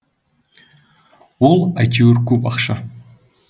ол әйтеуір көп ақша